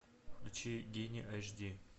включи гений аш ди